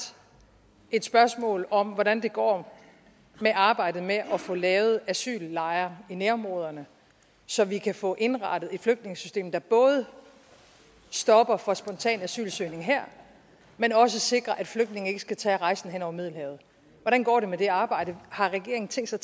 et spørgsmål om hvordan det går med arbejdet med at få lavet asyllejre i nærområderne så vi kan få indrettet et flygtningesystem der både stopper for spontan asylsøgning her men også sikrer at flygtninge ikke skal tage rejsen hen over middelhavet hvordan går det med det arbejde har regeringen tænkt sig